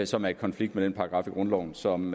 som er i konflikt med den paragraf i grundloven som